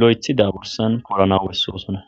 lo7ethida bursan poranaw de7oosona.